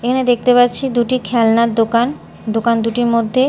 এখানে দেখতে পাচ্ছি দুটি খেলনার দোকান দোকান দুটির মধ্যে--